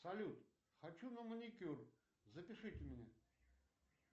салют хочу на маникюр запишите меня